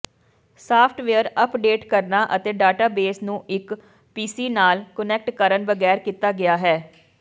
software update ਕਰਨਾ ਅਤੇ database ਨੂੰ ਇੱਕ ਪੀਸੀ ਨਾਲ ਕੁਨੈਕਟ ਕਰਨ ਬਗੈਰ ਕੀਤਾ ਗਿਆ ਹੈ